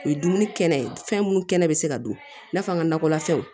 O ye dumuni kɛnɛ ye fɛn minnu kɛnɛ bɛ se ka dun i n'a fɔ an ka nakɔla fɛnw